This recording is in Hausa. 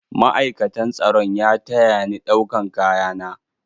Ma'aikatan tsaron ya taya ni ɗaukan kaya na.